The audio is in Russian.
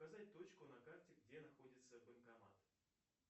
поставь точку на карте где находится банкомат